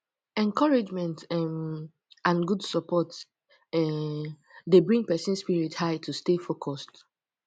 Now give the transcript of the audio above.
encouragement um and good support um dey bring pesin spirit high to stay focused